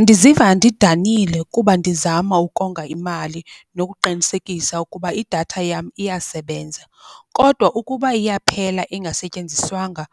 Ndiziva ndidanile kuba ndizama ukonga imali nokuqinisekisa ukuba idatha yam iyasebenza. Kodwa ukuba iyaphela ingasetyenziswanga